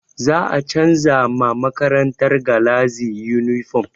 Za a canza ma makarantar galazi yunifom